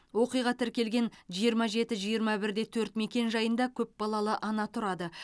оқиға тіркелген жиырма жеті жиырма бір де төрт мекенжайында көп балалы ана тұрады